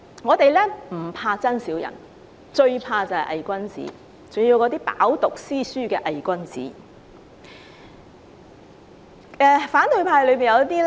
我們不怕真小人，最怕偽君子，特別是那些飽讀詩書的偽君子。